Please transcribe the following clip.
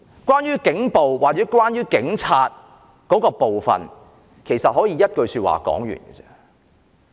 關於警暴或警察的部分，其實可以用一句說話總結。